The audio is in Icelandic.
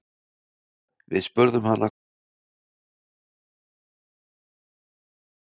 Við spurðum hana hvort það væri ekki ljúft að skora þrennu á svona stuttum tíma.